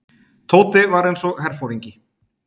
Tóti var eins og herforingi.